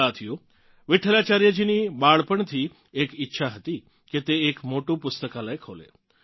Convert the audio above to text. સાથીઓ વિઠ્ઠલાચાર્યજીની બાળપણથી એક ઇચ્છા હતી કે તે એક મોટું પુસ્તકાલય ખોલે